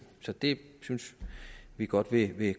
så det synes vi godt vi vil